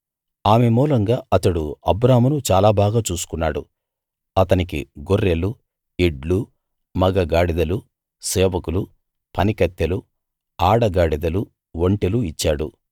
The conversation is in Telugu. ఆమె మూలంగా అతడు అబ్రామును చాలా బాగా చూసుకున్నాడు అతనికి గొర్రెలు ఎడ్లు మగ గాడిదలు సేవకులు పనికత్తెలు ఆడగాడిదలు ఒంటెలు ఇచ్చాడు